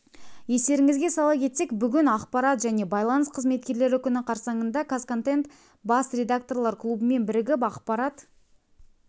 естеріңізге сала кетсек бүгін ақпарат және байланыс қызметкерлері күні қарсаңында қазконтент бас редакторлар клубымен бірігіп ақпарат